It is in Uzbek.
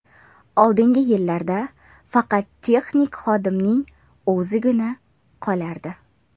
Oldingi yillarda faqat texnik xodimning o‘zigina qolardi.